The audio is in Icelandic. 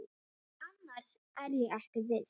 Annars er ég ekki viss.